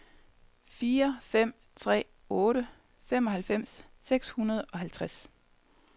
fire fem tre otte femoghalvfems seks hundrede og halvtreds